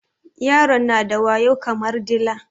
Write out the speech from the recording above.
Yaron na da wayo kamar dila